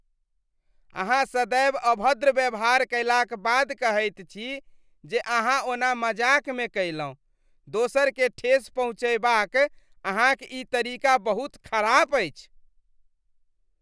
अहाँ सदैव अभद्र व्यवहार कयलाक बाद कहैत छी जे अहाँ ओना मजाकमे कयलहुँ, दोसरकेँ ठेस पहुँचयबाक अहाँक ई तरीका बहुत खराप अछि।